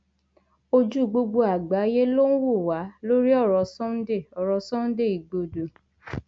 ojú gbogbo àgbáyé ló ń wò wá lórí ọrọ sunday ọrọ sunday igbodò